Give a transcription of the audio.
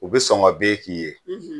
U be sɔngɔn be k'i ye